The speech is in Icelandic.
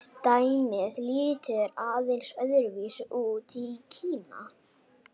Dæmið lítur aðeins öðru vísi út í Kína.